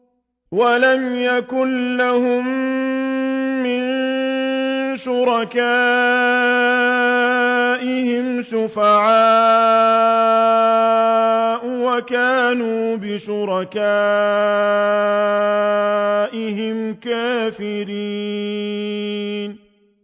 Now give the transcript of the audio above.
وَلَمْ يَكُن لَّهُم مِّن شُرَكَائِهِمْ شُفَعَاءُ وَكَانُوا بِشُرَكَائِهِمْ كَافِرِينَ